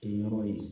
Kɛ yɔrɔ ye